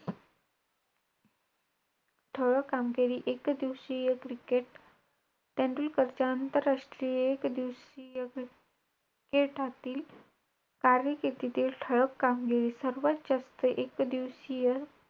ठळक कामगिरी एकदिवसीय cricket तेंडुलकरच्या आंतरराष्ट्रीय एकदिवसीय cricket तील कार्यकिर्दीतील ठळक कामगिरी. सर्वात जास्त एकदिवसीय,